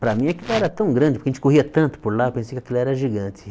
Para mim aquilo era tão grande, porque a gente corria tanto por lá, pensei que aquilo era gigante.